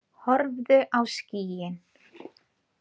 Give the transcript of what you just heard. Horfðu á skýin.